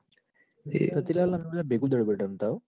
એ રતિલાલ ને અમે બધા ભેગું દડો બેટ રમતા હ.